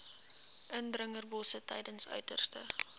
indringerbosse tydens uiterste